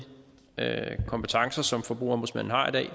kompetencer som forbrugerombudsmanden har i dag